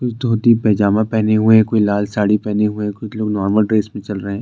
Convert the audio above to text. धोती पेजामा पहने हुए कोई लाल साड़ी पहने हुए कुछ लोग नॉर्मल ड्रेस में चल रहे हैं।